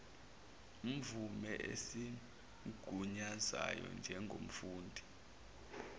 mvume esimgunyazayo njengomfundi